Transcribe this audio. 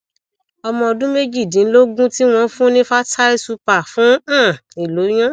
ọmọ ọdún méjìdínlógún ti won fun ni fertyl super fún um ìloyun